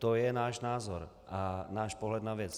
To je náš názor a náš pohled na věc.